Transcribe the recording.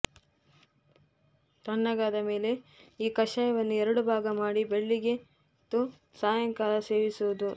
ತಣ್ಣಗಾದ ಮೇಲೆ ಈ ಕಷಾಯವನ್ನು ಎರಡು ಭಾಗ ಮಾಡಿ ಬೆಳ್ಳಿಗೆ ತ್ತು ಸಾಯಂಕಾಲ ಸೇವಿಸುವುದು